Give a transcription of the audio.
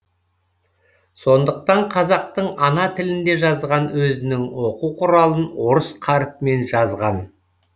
сондықтан қазақтың ана тілінде жазған өзінің оқу құралын орыс қарпімен жазған